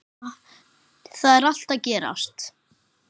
Þar er allt að gerast.